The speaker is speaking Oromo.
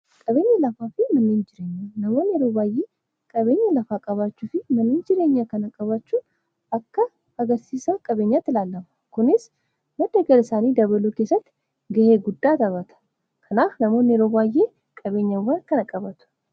Qabeenya lafaa fi manneen jireenya namoonni yeroo baay'ee qabeenya lafaa qabaachuu fi manneen jireenyaa kana qabaachuu akka agarsiisa qabeenyaatti ilaallama. Kunis madda galii isaanii dabaluu keessatti ga'ee guddaa taphata kanaaf namoonni yeroo baay'ee qabeenyawwan kana qabatu.